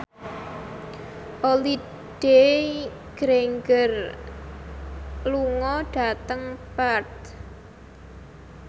Holliday Grainger lunga dhateng Perth